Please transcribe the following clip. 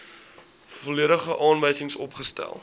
volledige aanwysings opgestel